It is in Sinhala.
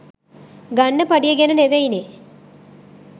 ගන්න පඩිය ගැන නෙවෙයිනේ